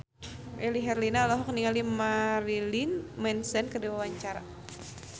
Melly Herlina olohok ningali Marilyn Manson keur diwawancara